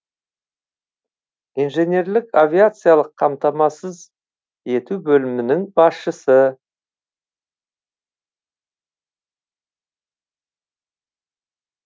инженерлік авиациялық қамтамасыз ету бөлімінің басшысы